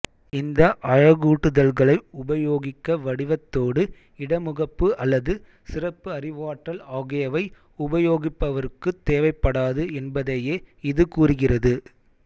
இந்த அழகூட்டுதல்களை உபயோகிக்க வடிவத்தோடு இடமுகப்பு அல்லது சிறப்பு அறிவாற்றல் ஆகியவை உபயோகிப்பவருக்குத் தேவைப்படாது என்பதையே இது கூறுகிறது